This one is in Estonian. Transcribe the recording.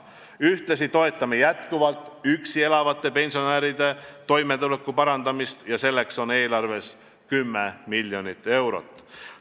Ühtlasi toetame jätkuvalt üksi elavate pensionäride toimetuleku parandamist, selleks on eelarves 10 miljonit eurot.